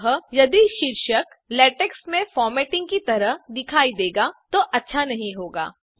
अतः यदि शीर्षक लेटेक्स में फॉर्मेटिंग की तरह दिखाई देगा तो अच्छा नहीं होगा